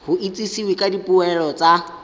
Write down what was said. go itsisiwe ka dipoelo tsa